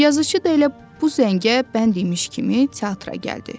Yazıçı da elə bu zəngə bənd imiş kimi teatra gəldi.